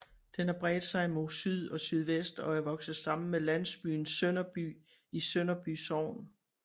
Den har bredt sig mod syd og sydvest og er vokset sammen med landsbyen Sønderby i Sønderby Sogn